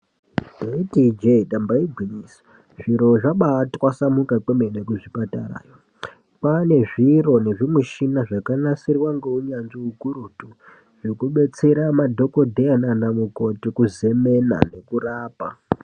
Ndaiti ijee damba igwinyiso zviro zvabaa twasamuka kwemene kuzvipatarayo kwane zviro zvakanasirwa ngeunyanzvi ukurutu. Zvekubetsera madhokodheya nana mukoti kuzemena nekurapa.